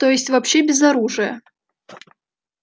то есть вообще без оружия